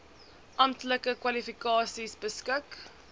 amptelike kwalifikasies beskik